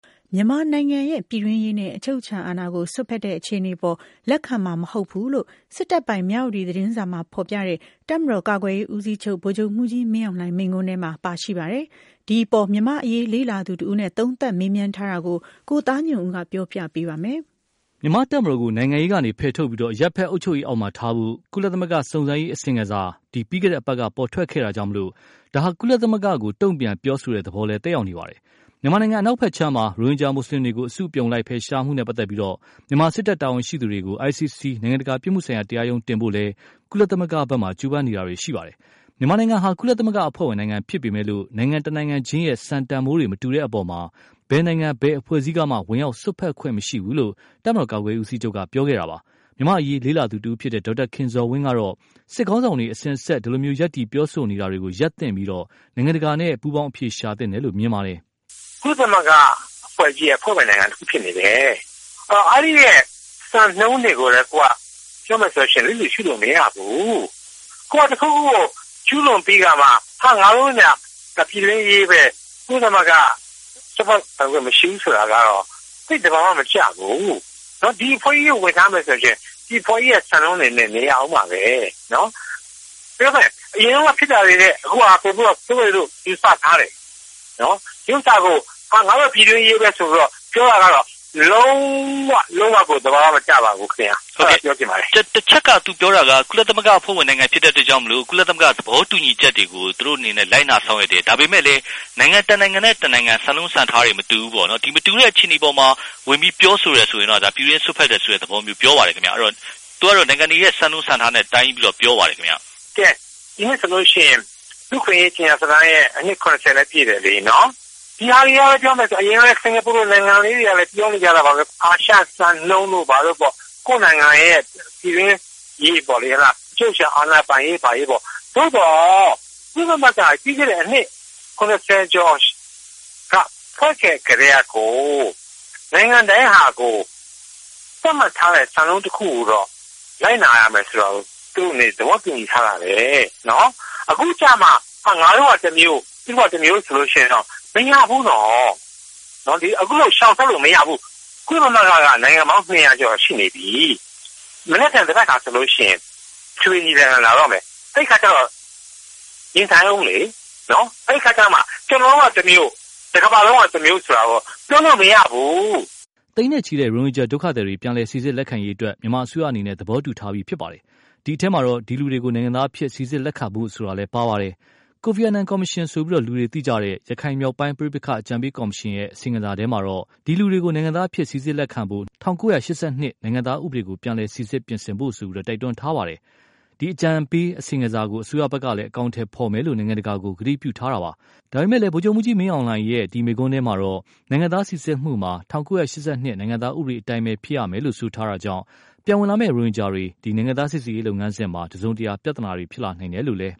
မြန်မာနိုင်ငံရဲ့ ပြည်တွင်းရေးနဲ့ အချုပ်အခြာအာဏာကို စွက်ဖက်တဲ့အခြေအနေအပေါ် လက်ခံမှာမဟုတ်ဘူးလို့ စစ်တပ်ပိုင် မြဝတီသတင်းစာမှာဖော်ပြတဲ့ တပ်မတော်ကာကွယ်ရေးဦးစီးချုပ် ဗိုလ်ချုပ်မှုးကြီးမင်းအောင်လှိုင်မိန့်ခွန်းထဲမှာ ပါရှိပါတယ်။ ဒီအပေါ် မြန်မာ့အရေးလေ့လာသူတဦးနဲ့ သုံးသပ်မေးမြန်းထားတာကို ကိုသားညွန့်ဦးက ပြောပြပေးပါမယ်။ မြန်မာ့တပ်မတော်ကို နိုင်ငံရေးကနေဖယ်ထုတ်ပြီး၊ အရပ်ဖက် အုပ်ချုပ်ရေးအောက်မှာထားဖို့ ကုလသမဂ္ဂ စုံစမ်းရေးအစီရင်ခံစာ ပြီးခဲ့တဲ့အပတ်က ပေါ်ထွက်ခဲ့တာကြောင့်၊ ဒါဟာ ကုလသမဂ္ဂကို တုန့်ပြန်ပြောဆိုတဲ့သဘော သက်ရောက်နေပါတယ်။ မြန်မာနိုင်ငံ အနောက်ဖက်ခြမ်းမှာ ရိုဟင်ဂျာမွတ်ဆလင်တွေကို အစုအပြုံလိုက် ဖယ်ရှားမှုနဲ့ပတ်သက်လို့၊ မြန်မာ စစ်တပ်တာဝန်ရှိသူတွေကို ICC နိုင်ငံတကာပြစ်မှုဆိုင်ရာ တရားရုံးကိုတင်ဖို့လည်း ကုလသမဂ္ဂမှာ ကြိုးပမ်းနေကြပါတယ်။ မြန်မာနိုင်ငံဟာ ကုလသမဂ္ဂအဖွဲ့ဝင် နိုင်ငံဖြစ်ပေမယ့်လို့ နိုင်ငံတနိုင်ချင်းရဲ့ စံတန်ဖိုးတွေ မတူတဲ့အပေါ် ဘယ်နိုင်ငံ ဘယ်အဖွဲ့အစည်းကမှ ဝင်ရောက်စွက်ဖက်ခွင့်မရှိဘူးလို့ တပ်မတော်ကာကွယ်ရေးဦးစီးချုပ်က ပြောခဲ့တာပါ။ မြန်မာ့အရေးလေ့လာသူတဦးဖြစ်တဲ့ ဒေါက်တာခင်ဇော်ဝင်းကတော့ စစ်ခေါင်းဆောင်တွေ အစဉ်အဆက် ဒီလို ရပ်တည်ပြောဆိုနေတာတွေကို ရပ်သင့်ပြီး၊ နိုင်ငံတကာနဲ့ ပူးပေါင်းအဖြေရှာသင့်တယ်လို့ မြင်ပါတယ်။ “ ကုလသမဂ္ဂ အဖွဲ့ကြီးရဲ့ အဖွဲ့ဝင် နိုင်ငံတခု ဖြစ်နေတယ်။ အဲဒီက စံနှုန်းတွေကိုလည်း ပြောမယ်ဆိုရင် လစ်လျူရှုလို့ မရဘူး။ ကိုယ်တခုခု ကျူးလွန်ပြီးခါမှ ဒါက ပြည်တွင်းရေးဘဲ ကုလသမဂ္ဂ ချိုးဖောက်ပိုင်ခွင့် မရှိဘူး ဆိုတာကတော့ သိပ် သဘာ၀ မကျဘူး။ ဒီအဖွဲ့ကြီးကို ဝင်ထားမယ်ဆိုရင် ဒီအဖွဲ့ကြီးရဲ့ စံနှုန်းတွေနဲ့ နေရဦးမှာဘဲ။ အရင်တုန်းက ဖြစ်တာတွေထက် အခုဟာက ဆိုးတယ်လို့ ယူဆထားတယ်။ ဒီဥစ္စာကို ငါတို့ ပြည်တွင်းရေးဘဲ ဆိုပြီးတော့ ပြောတာကတော့ လုံး၀ လုံး၀ ကို သဘာ၀ မကျပါဘူးခင်ဗျ။ ” ဟုတ်ကဲ့။ တချက်က သူပြောတာက ကုလသမဂ္ဂ အဖွဲ့ဝင် နိုင်ငံ ဖြစ်တဲ့ အတွက်ကြောင့် မို့လို့ ကုလသမဂ္ဂ သဘောတူညီချက်တွေကို သူတို့ အနေနဲ့ လိုက်နာ ဆောင်ရွက်တယ်။ ဒါပေမယ်လို့လည်း နိုင်ငံ တနိုင်ငံနဲ့ တနိုင်ငံ စံနှုန်း စံထားတွေ မတူဘူးပေါ့နော်။ မတူတဲ့ အခြေအနေတွေ အပေါ်မှာ ဝင်ပြီး ပြောဆိုတယ် ဆိုရင်တော့ ဒါ ပြည်တွင်းရေး စွက်ဖက်တယ်ဆိုတဲ့ သဘောမျိုး ပြောပါတယ်။ အဲဒီတော့ သူကတော့ နိုင်ငံတွေရဲ့ စံနှုန်း စံထားတွေနဲ့ တိုင်းပြီးတော့ ပြောပါတယ်။ ဒီနှစ်ဆိုလို့ ရှိရင် လူ့အခွင့်အရေး ကြေညာစာတမ်းရဲ့ အနှစ် ၇၀ လည်း ပြည့်တယ်လေ။ ဒီဟာတွေက ပြောမယ်ဆိုရင် အရင်တုန်းက စကာၤပူလို နိုင်ငံလေးတွေကလည်း ပြောနေကြတာပါဘဲ အာရှစံနှုန်းတို့ ဘာတို့ပေါ့။ ကိုယ့်နိုင်ငံရဲ့ ပြည်တွင်းရေးပေါ့လေ အချုပ်အချာ အာဏာ ပိုင်ရေး ဘာညာပေါ့။ သို့သော် ကုလသမဂ္ဂ လွန်ခဲ့တဲ့ အနှစ် ၇၀ ကျော်က ဖွဲ့ခဲ့ ကတည်းကကို နိုင်ငံတိုင်းကကို သတ်မှတ်ထားတဲ့ စံနှုန်းတခုကိုတော့ လိုက်နာရမယ်ဆိုတာကို သူ့အနေနဲ့ သဘောတူညီထားတာဘဲ။ အခုကျတော့မှ ငါတို့က တမျိုး၊ သူတို့က တမျိုး ဆိုလို့ ရှိရင်တော့ မရဘူးနော်။ အခုလို ရှောင်ထွက်လို့ မရဘူး။ ကုလသမဂ္ဂက နိုင်ငံပေါင်း ၂၀၀ ကျော် ရှိနေပြီ။ မနက်ဖြန် သဘက်ခါ ဆိုရင် အထွေထွေ ညီလာခံ လာတော့မယ်။ အဲဒီ အခါကျတော့ ရင်ဆိုင်ဦးလေနော်။ အဲဒီ အခါကျတော့မှ ကျနော်တို့က တမျိုး တကမ္ဘာလုံးက တမျိုးလို့တော့ ပြောလို့ မရဘူး။ သိန်းနဲ့ချီ ရိုဟင်ဂျာဒုက္ခသည်တွေ ပြန်လည်စီစစ်လက်ခံရေးအတွက် မြန်မာအစိုးရအနေနဲ့ သဘောတူထားပြီးဖြစ်ပါတယ်။ ဒီအထဲမှာ ဒီလူတွေကို နိုင်ငံသားအဖြစ် စီစစ်လက်ခံဖို့ဆိုတာလည်း ပါဝင်ပါတယ်။ ကိုဖီအာနန်ကော်မရှင်လို့ သိကြတဲ့ ရခိုင်မြောက်ပိုင်းပဋိပက္ခ အကြံပေးကော်မရှင်ရဲ့ အစီရင်ခံစာထဲမှာတော့ ဒီလူတွေကို နိုင်ငံသားအဖြစ် စီစစ်လက်ခံဖို့ ၁၉၈၂ နိုင်ငံသားဥပဒေကို ပြန်လည်စီစစ်ပြင်ဆင်ဖို့ တိုက်တွန်းထားပြီး၊ အကြံပေးအစီရင်ခံစာကို အစိုးရဖက်က အကောင်အထည်ဖော်မယ်လို့ နိုင်ငံတကာကို ကတိပြုထားပါတယ်။ ဒါပေမယ့်လည်း ဗိုလ်ချုပ်ကြီးမင်းအောင်လှိုင်ရဲ့ ဒီ မိန့်ခွန်းထဲမှာတော့ နိုင်ငံသားစီစစ်မှုမှာ ၁၉၈၂ နိုင်ငံသားဥပဒေအတိုင်းပဲ ဖြစ်ရမယ်လို့ ဆိုထားတာကြောင့်၊ ပြန်ဝင်လာမယ့် ရိုဟင်ဂျာတွေ နိုင်ငံသားစီစစ်ရေးလုပ်ငန်းစဉ်မှာ တစုံတရာ ပြဿနာတွေရှိနိုင်တယ်လို့လည်း